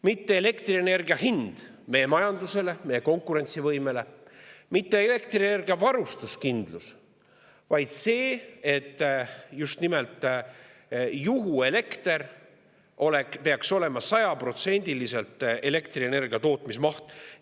Mitte elektrienergia hind meie majandusele, meie konkurentsivõimele, mitte energiavarustuskindlus, vaid see, et just nimelt juhuelekter peaks sajaprotsendiliselt katma elektrienergiatootmise mahu.